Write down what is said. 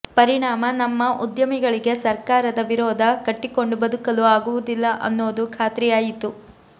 ಪರಿಣಾಮ ನಮ್ಮ ಉದ್ಯಮಿಗಳಿಗೆ ಸರ್ಕಾರದ ವಿರೋಧ ಕಟ್ಟಿಕೊಂಡು ಬದುಕಲು ಆಗುವುದಿಲ್ಲ ಅನ್ನೋದು ಖಾತ್ರಿಯಾಯಿತು